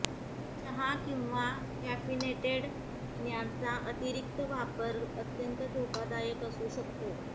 चहा किंवा कॅफिनेटेड पिण्यांचा अतिरीक्त वापर अत्यंत धोकादायक असू शकतो